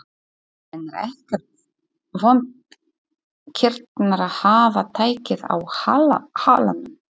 En er ekkert vont kýrnar að hafa tækið á halanum?